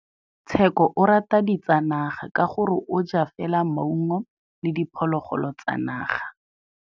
Tshekô o rata ditsanaga ka gore o ja fela maungo le diphologolo tsa naga.